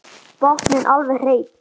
Botninn alveg hreinn.